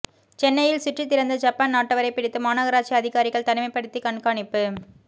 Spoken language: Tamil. சென்னையில் சுற்றித்திரிந்த ஜப்பான் நாட்டவரை பிடித்து மாநகராட்சி அதிகாரிகள் தனிமைப்படுத்தி கண்காணிப்பு